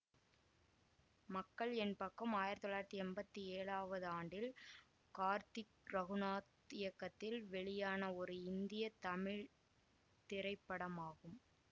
மக்கள் என் பக்கம் ஆயிரத்தி தொள்ளாயிரத்தி எம்பத்தி ஏழாவது ஆண்டில் கார்த்திக் ரகுநாத் இயக்கத்தில் வெளியான ஒரு இந்திய தமிழ் திரைப்படமாகும்